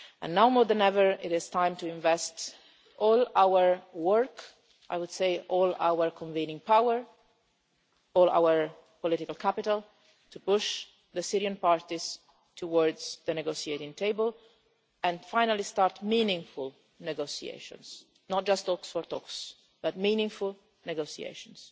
Now more than ever, it is time to invest all our work, all our convening power, all our political capital, to push the Syrian parties towards the negotiating table and finally start meaningful negotiations not just talks for the sake of talks, but meaningful negotiations.